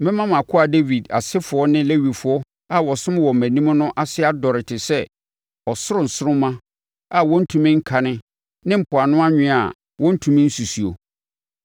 Mɛma mʼakoa Dawid asefoɔ ne Lewifoɔ a wɔsom wɔ mʼanim no ase adɔre te sɛ ɔsoro nsoromma a wɔntumi nkane ne mpoano anwea a wɔntumi nsusuo.’ ”